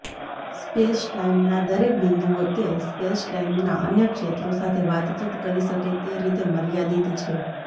સ્પૅસટાઇમના દરેક બિંદુઓ તે સ્પૅસટાઇમના અન્ય ક્ષેત્રો સાથે વાતચીત કરી શકે તે રીતે મર્યાદિત છે